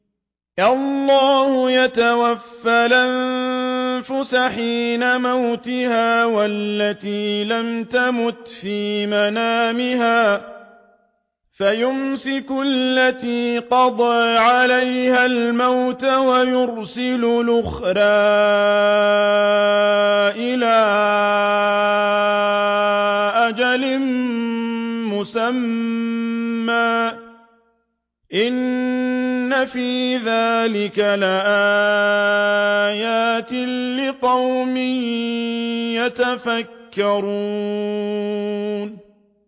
اللَّهُ يَتَوَفَّى الْأَنفُسَ حِينَ مَوْتِهَا وَالَّتِي لَمْ تَمُتْ فِي مَنَامِهَا ۖ فَيُمْسِكُ الَّتِي قَضَىٰ عَلَيْهَا الْمَوْتَ وَيُرْسِلُ الْأُخْرَىٰ إِلَىٰ أَجَلٍ مُّسَمًّى ۚ إِنَّ فِي ذَٰلِكَ لَآيَاتٍ لِّقَوْمٍ يَتَفَكَّرُونَ